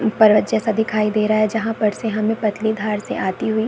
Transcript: पर्वत जैसा दिखाई दे रहा है जहाँ पर से हमें पतली धार से आती हुई --